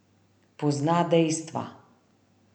Pozna dejstva.